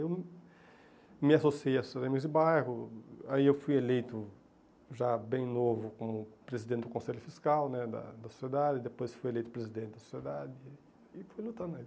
Eu me associei à Sociedade de Bairro, aí eu fui eleito, já bem novo, como presidente do conselho fiscal né da da sociedade, depois fui eleito presidente da sociedade né e fui lutando.